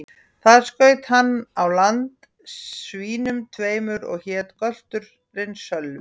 Þar skaut hann á land svínum tveimur, og hét gölturinn Sölvi.